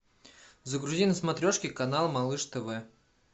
загрузи на смотрешке канал малыш тв